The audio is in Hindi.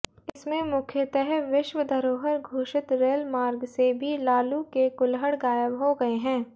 इसमंे मुख्यतः विश्व धरोहर घोषित रेलमार्ग से भी लालू के कूलहड़ गायब हो गए हैं